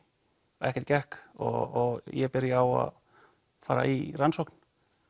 og ekkert gekk og ég byrja á að fara í rannsókn